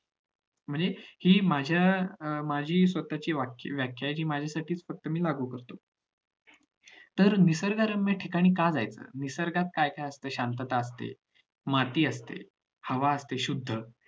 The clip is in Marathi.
म्हणजे हि माझ्या माझी स्वशांतता असते तची वाटाचीन्ह आहेत ती फक्त मी माझ्या पुरातच लागू करतो तर निसर्गरम्य ठिकाणी का जायचं निसर्गात काय काय असते माती असते हवा असते शुद्ध